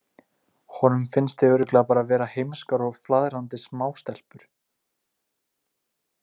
Honum finnst þið örugglega bara vera heimskar og flaðrandi smástelpur.